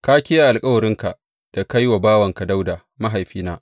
Ka kiyaye alkawarinka da ka yi wa bawanka Dawuda mahaifina.